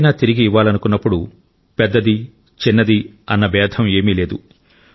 ఏదైనా తిరిగి ఇవ్వాలనుకున్నప్పుడు పెద్దది చిన్నది అన్న భేదం ఏమీ లేదు